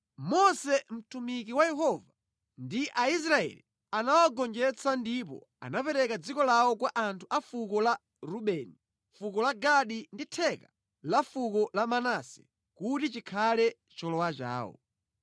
Mose mtumiki wa Yehova ndi Aisraeli anawagonjetsa ndipo anapereka dziko lawo kwa anthu a fuko la Rubeni, fuko la Gadi ndi theka la fuko la Manase kuti chikhale cholowa chawo.